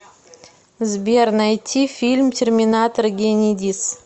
сбер найти фильм терминатор генедис